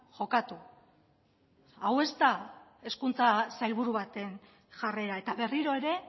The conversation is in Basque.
jokatu hau ez da hezkuntza sailburu baten jarrera eta berriro ere